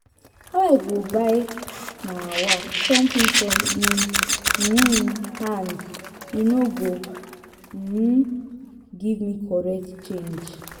How I go buy um something from im um hand, he no go um give me correct change.